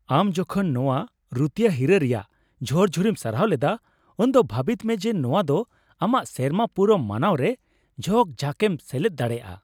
ᱟᱢ ᱡᱚᱠᱷᱚᱱ ᱱᱚᱶᱟ ᱨᱩᱛᱤᱭᱟᱹ ᱦᱤᱨᱟᱹ ᱨᱮᱭᱟᱜ ᱡᱷᱚᱨᱡᱷᱚᱨᱤᱢ ᱥᱟᱨᱦᱟᱣ ᱞᱮᱫᱟ, ᱩᱱᱫᱚ ᱵᱷᱟᱹᱵᱤᱛᱢᱮ ᱡᱮ ᱱᱚᱶᱟ ᱫᱚ ᱟᱢᱟᱜ ᱥᱮᱨᱢᱟ ᱯᱩᱨᱟᱹᱣ ᱢᱟᱱᱟᱣᱨᱮ ᱡᱷᱚᱠᱼᱡᱷᱟᱠᱮᱢ ᱥᱮᱞᱮᱫ ᱫᱟᱲᱮᱭᱟᱜᱼᱟ ᱾